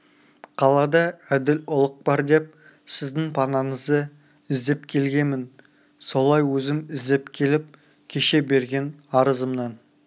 қалада әділ ұлық бар деп сіздің панаңызды іздеп келгемін солай өзім іздеп келіп кеше берген арызымнан